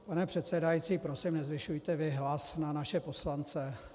Pane předsedající, prosím, nezvyšujte vy hlas na naše poslance.